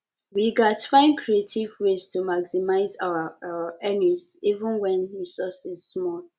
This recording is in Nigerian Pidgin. we gats find creative ways to maximize our our earnings even wen resources small